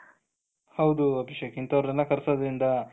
ಹೌದು ಅಭಿಷೇಕ್ ಇಂಥವರನ್ನೆಲ್ಲ ಕರ್ಸೋದ್ರಿಂದ,